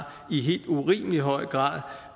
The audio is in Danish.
i helt urimelig høj grad